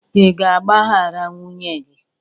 Ị ga-agbaghara nwunye gị?